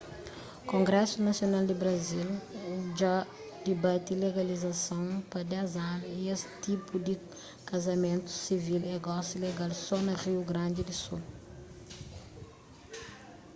kongrésu nasional di brazil dja dibati legalizason pa 10 anu y es tipu di kazamentus sivil é gosi legal so na riu grandi di sul